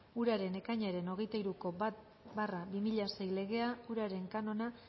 uraren ekainaren hogeita hiruko bat barra bi mila sei legea uraren kanona